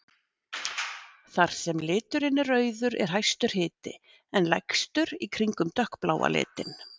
Þar sem liturinn er rauður er hæstur hiti en lægstur í kringum dökkbláa litinn.